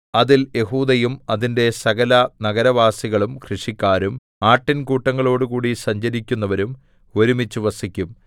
അതിൽ യെഹൂദയും അതിന്റെ സകല നഗരവാസികളും കൃഷിക്കാരും ആട്ടിൻകൂട്ടങ്ങളോടുകൂടി സഞ്ചരിക്കുന്നവരും ഒരുമിച്ച് വസിക്കും